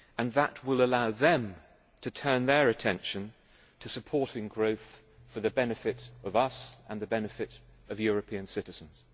That will allow them to turn their attention to supporting growth for the benefit of us and the benefit of European citizens.